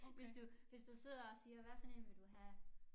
Hvis du hvis du sidder og siger hvad for en vil du have